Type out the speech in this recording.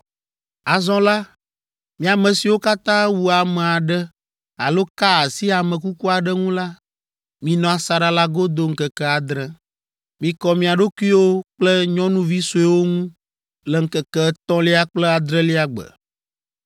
“Azɔ la, mi ame siwo katã wu ame aɖe alo ka asi ame kuku aɖe ŋu la, minɔ asaɖa la godo ŋkeke adre. Mikɔ mia ɖokuiwo kple nyɔnuvi sueawo ŋu le ŋkeke etɔ̃lia kple adrelia gbe.